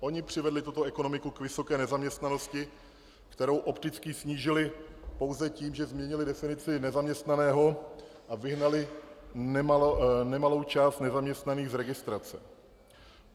Oni přivedli tuto ekonomiku k vysoké nezaměstnanosti, kterou opticky snížili pouze tím, že změnili definici nezaměstnaného a vyhnali nemalou část nezaměstnaných z registrace.